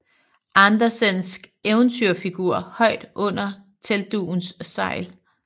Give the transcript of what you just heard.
Andersensk eventyrfigur højt under teltdugens sejl